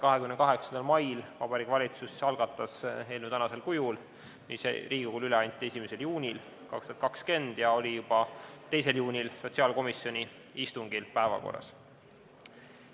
28. mail algatas Vabariigi Valitsus selle eelnõu praegusel kujul, nii anti see Riigikogule üle 1. juunil 2020 ja oli juba 2. juunil sotsiaalkomisjoni istungil päevakorras.